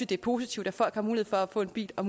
det er positivt at folk har mulighed for at få en bil og